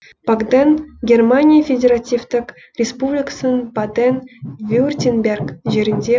багден германия федеративтік республикасының баден вюртемберг жерінде